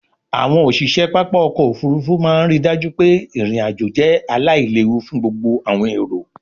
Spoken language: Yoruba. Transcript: àwọn òṣiṣẹ pápá ọkọ̀-òfurufú máa ń rí i dájú pé irin-ajo jẹ́ aláìléwu fún gbogbo àwọn èrò.